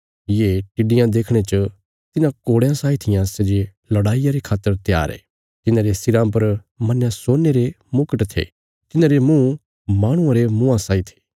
ये टिड्डियां देखणे च तिन्हां घोड़यां साई थिआं सै जे लड़ाईया रे खातर त्यार ये तिन्हांरे सिराँ पर मन्नया सोने रे मुकट थे तिन्हांरे मुँह माहणुआं रे मुँआं साई थे